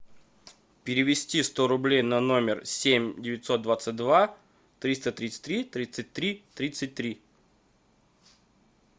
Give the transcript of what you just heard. перевести сто рублей на номер семь девятьсот двадцать два триста тридцать три тридцать три тридцать три